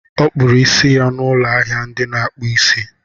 Ọ kpụrụ isi ya n'ụlọ ahịa ndị na-akpụ isi.